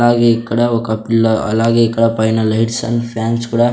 అలాగే ఇక్కడ ఒక పిల్ల అలాగే ఇక్కడ పైన లైట్స్ అండ్ ఫ్యాన్స్ కూడా--